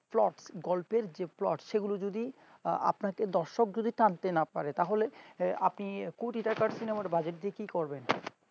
plot গল্পের যে plot সেগুলো যদি আপনাকে দর্শক যদি তার দেনা করে তাহলে্ন আপনি কটি টাকার cinema budget দেখিয়ে করবেন